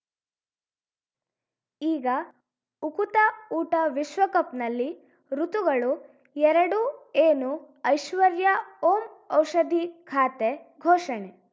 ಈಗ ಉಕುತ ಊಟ ವಿಶ್ವಕಪ್‌ನಲ್ಲಿ ಋತುಗಳು ಎರಡು ಏನು ಐಶ್ವರ್ಯಾ ಓಂ ಔಷಧಿ ಖಾತೆ ಘೋಷಣೆ